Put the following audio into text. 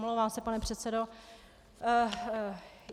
Omlouvám se, pane předsedo.